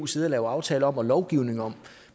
sidde og lave aftaler og lovgivning om